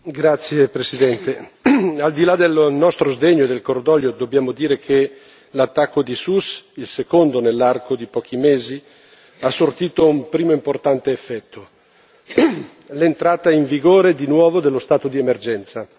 Signor Presidente, onorevoli colleghi, al di là dello nostro sdegno e cordoglio, dobbiamo dire che l'attacco di Sousse, il secondo nell'arco di pochi mesi, ha sortito un primo importante effetto l'entrata in vigore di nuovo dello stato di emergenza.